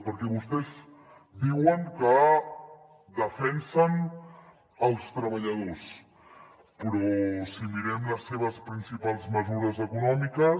perquè vostès diuen que defensen els treballadors però si mirem les seves principals mesures econòmiques